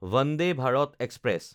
Vande Bharat express